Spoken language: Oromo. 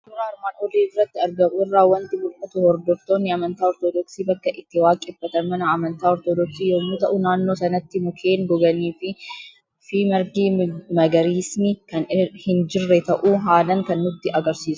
Suuraa armaan olitti argamu irraa waanti mul'atu; hordoftoonni amantaa ortoodoksii bakkaa itti waaqeeffatan mana amantaa ortoodoksii yommuu ta'u, naannoo sanatti mukeen goganiifi margi magariisni kan hin jirre ta'uu haalan kan nutti agarsiisu.